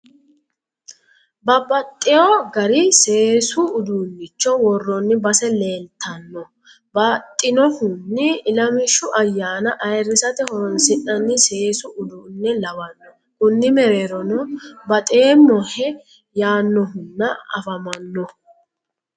Babbaxxeewo gari seesu uduunnicho worroonni base leeltano baxxinohunni ilamishshu ayyaana ayiirrisate horoonsi'nanni seesu uduunne lawanno konni mereerono baxeemmohe yaannohunna afamanno.